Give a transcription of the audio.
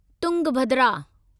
Tungabhadra